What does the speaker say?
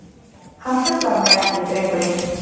Hann truflar mig ekki drengurinn.